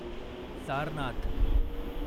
Sarnath